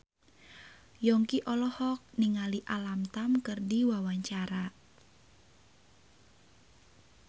Yongki olohok ningali Alam Tam keur diwawancara